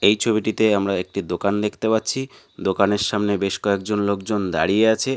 এই ছবিটিতে আমরা একটি দোকান দেখতে পাচ্ছি দোকানের সামনে বেশ কয়েকজন লোকজন দাঁড়িয়ে আছে।